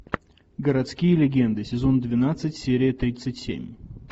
городские легенды сезон двенадцать серия тридцать семь